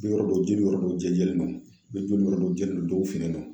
Yɔrɔ dɔ jeli yɔrɔ dɔw jɛjɛlen don ne joli yɔrɔ dɔ jɛlen don dɔw finnen don.